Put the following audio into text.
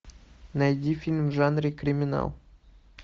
найди фильм в жанре криминал